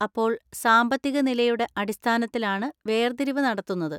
അപ്പോൾ, സാമ്പത്തികനിലയുടെ അടിസ്ഥാനത്തിലാണ് വേർതിരിവ് നടത്തുന്നത്?